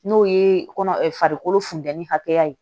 N'o ye kɔnɔ funteni hakɛya ye